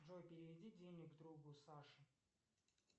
джой переведи денег другу саше